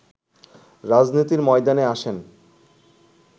রাজনীতির ময়দানে আসেন